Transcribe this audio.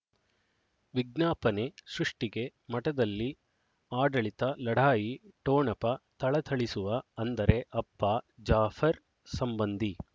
ವಿಜ್ಞಾಪನೆ ಸೃಷ್ಟಿಗೆ ಮಠದಲ್ಲಿ ಆಡಳಿತ ಲಢಾಯಿ ಠೊಣಪ ಥಳಥಳಿಸುವ ಅಂದರೆ ಅಪ್ಪ ಜಾಫರ್ ಸಂಬಂಧಿ